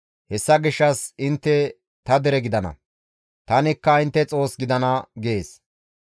Hessa gishshas intte ta dere gidana; tanikka intte Xoos gidana» gees.